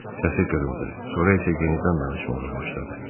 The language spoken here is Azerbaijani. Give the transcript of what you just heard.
Səsi qırıldı, sonra isə yenidən danışmağa başladı.